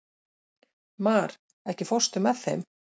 Mar, ekki fórstu með þeim?